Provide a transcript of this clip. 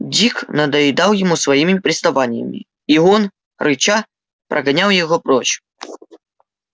дик надоедал ему своими приставаниями и он рыча прогонял его прочь